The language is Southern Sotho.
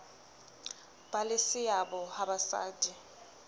ba le seabo ha basadi